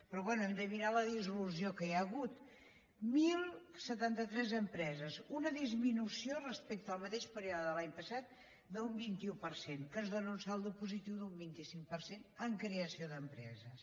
però bé hem de mirar la dissolució que hi ha hagut deu setanta tres empreses una disminució respecte al mateix període de l’any passat d’un vint un per cent que ens dóna un saldo positiu d’un vint cinc per cent en creació d’empreses